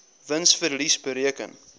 wins verlies bereken